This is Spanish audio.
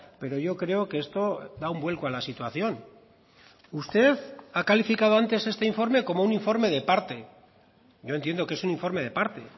pero yo creo que esto da un vuelco a la situación usted ha calificado antes este informe como un informe de parte yo entiendo que es un informe de parte